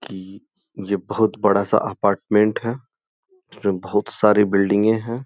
कि ये बहुत बड़ा सा अपार्टमेंट है इसमें बहुत सारी बिल्डिंगें हैं।